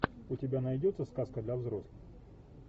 у тебя найдется сказка для взрослых